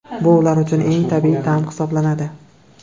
Bu ular uchun eng tabiiy ta’m hisoblanadi.